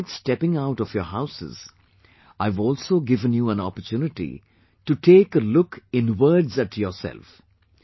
avoid stepping out of your houses, I have also given you an opportunity to take a look inwards at yourself